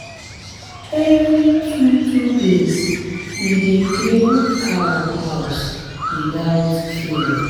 every two two days we dey clean cow house without fail. um